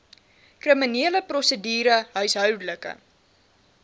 kriminele prosedure huishoudelike